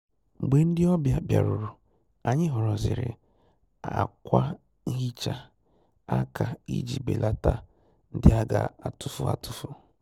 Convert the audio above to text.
Mgbè ndị́ ọ́bị̀à bìárùrù, ànyị́ họ́rọ́zìrì ákwà nhị́chá áká ìjí bèlàtá ndị́ á gà-àtụ́fù àtụ́fù.